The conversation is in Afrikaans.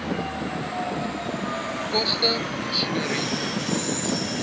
koste masjinerie